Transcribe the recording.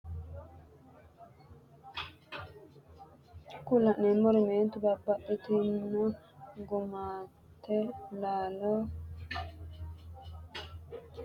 kuri la'neemeri mannotu babbaxxinno gummate laalo cancante anganni widira soorite addi addi sagale ledo hurbaateho shiqqino sagaleti. jawa horo uyitanno.